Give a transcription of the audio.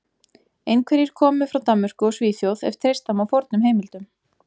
Einhverjir komu frá Danmörku og Svíþjóð ef treysta má fornum heimildum.